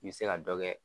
I bɛ se ka dɔ kɛ